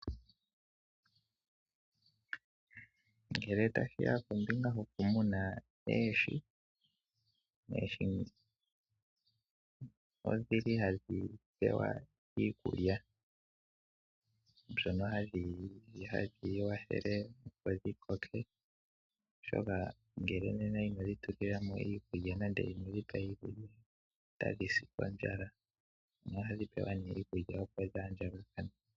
Ngele tashiya kombinga yoku muna oohi. Oohi odhili hadhi pewa iikulya mbyoka hadhi yili opo dhiikwathele dho dhi koke, oshoka ngele inodhi tulilamo iikulya nenge inodhi pa iikulya nena otadhi si kondjala. Ohadhi pewa ne iikulya opo dhi andjakane.